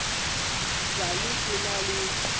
sa le ke na le